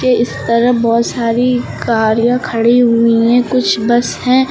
इस तरह बहुत सारी गाड़ियां खड़ी हुई है कुछ बस है।